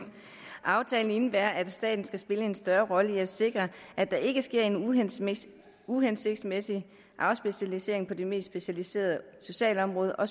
aftalen indebærer at staten skal spille en større rolle med at sikre at der ikke sker en uhensigtsmæssig uhensigtsmæssig afspecialisering på det mest specialiserede socialområde og